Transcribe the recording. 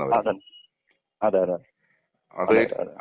*Not ക്ലിയർ* അതെ അതെ.അതെ അതെ.